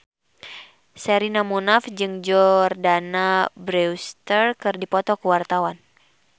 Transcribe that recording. Sherina Munaf jeung Jordana Brewster keur dipoto ku wartawan